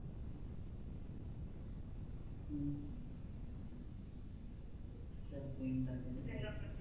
ਚੱਲ ਕੋਈ ਨੀ ਲੱਗ ਜਾਂਦਾ